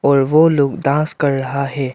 और वो लोग डांस कर रहा है।